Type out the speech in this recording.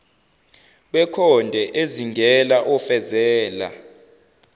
wekhonde ezingela ofezela